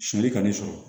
Sɔni ka n'i sɔrɔ